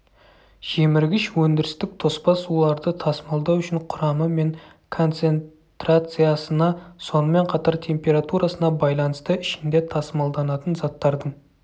жеміргіш өндірістік тоспа суларды тасымалдау үшін құрамы мен концентрациясына сонымен қатар температурасына байланысты ішінде тасымалданатын заттардың